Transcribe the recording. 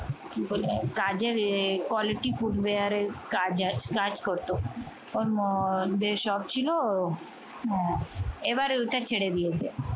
কি বলে কাজের quality পূর্বের কাজ করত অর মধ্যে সব ছিল এইবার ওইটা ছেড়ে দিয়েছে